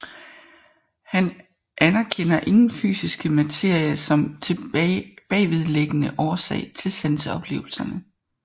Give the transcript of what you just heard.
Han anerkender ingen fysisk materie som bagvedliggende årsag til sanseoplevelserne